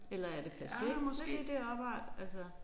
Eller er det passé med det der opart altså